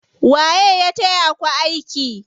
Waye ya taya ku aiki?